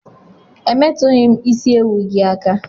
Emetughim isi ewu gi aka!!